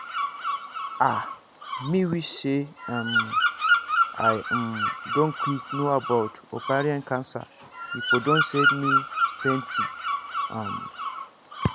ah me wish say um i um don quick know about ovarian cancer e for don save me plenty um